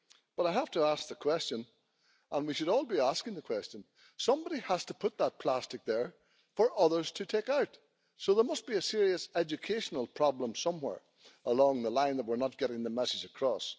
But I have to ask the question, and we should all be asking the question somebody has to put that plastic there for others to take out, so there must be a serious educational problem somewhere along the line, since we are not getting the message across.